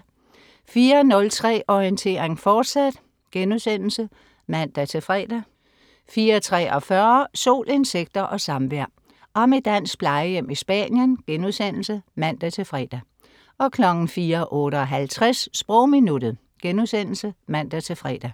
04.03 Orientering, fortsat* (man-fre) 04.43 Sol, insekter og samvær. Om et dansk plejehjem i Spanien* (man-fre) 04.58 Sprogminuttet* (man-fre)